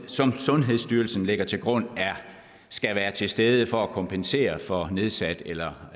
som sundhedsstyrelsen lægger til grund skal være til stede for at kompensere for nedsat eller